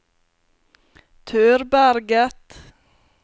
Tørberget